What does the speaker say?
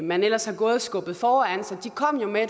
man ellers havde gået og skubbet foran sig kom jo med